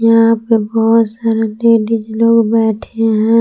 यहां पे बहोत सारे लेडीस लोग बैठे हैं।